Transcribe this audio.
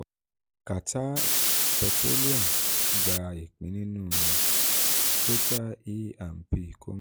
qatar petroleum gba ìpín nínú ìpín nínú total e and p